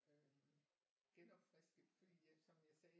Øh genopfrisket fordi jeg som jeg sagde